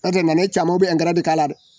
Ɲɔtɛ nanaye caman u bɛ de k'a la dɛ.